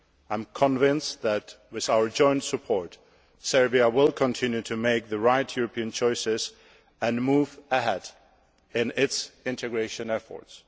I am convinced that, with our joint support, Serbia will continue to make the right European choices and move ahead in its integration efforts.